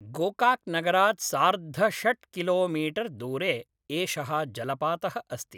गोकाक् नगरात् सार्धषट्किलोमीटर्दूरे एषः जलपातः अस्ति।